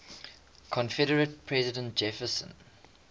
confederate president jefferson